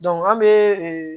an bɛ ee